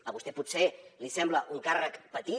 a vostè potser li sembla un càrrec petit